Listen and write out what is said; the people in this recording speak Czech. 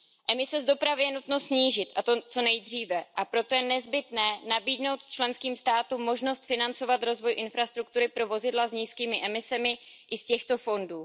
Emise z dopravy je nutno snížit, a to co nejdříve, a proto je nezbytné nabídnout členským státům možnost financovat rozvoj infrastruktury pro vozidla s nízkými emisemi i z těchto fondů.